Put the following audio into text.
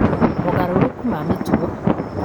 mogarũrũku ma mĩtugo